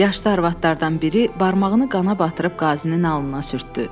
Yaşlı arvadlardan biri barmağını qana batırıb qazinin alnına sürtdü.